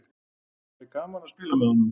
Það er gaman að spila með honum.